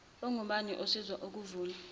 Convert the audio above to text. omningi osiza ukulw